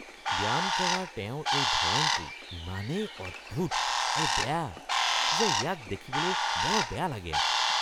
ব্যায়াম কৰাৰ তেওঁৰ এই ধৰণটো ইমানেই অদ্ভুত আৰু বেয়া যে ইয়াক দেখিবলৈ বৰ বেয়া লাগে।